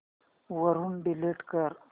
वरून डिलीट कर